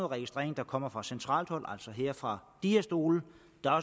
registrering der kommer fra centralt hold altså her fra de her stole